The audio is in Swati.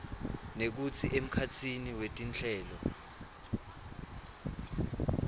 nekutsi emkhatsini wetinhlelo